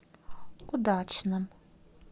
удачном